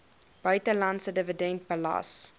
buitelandse dividend belas